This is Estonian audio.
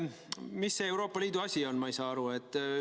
Mis see Euroopa Liidu asi on, ma ei saa aru?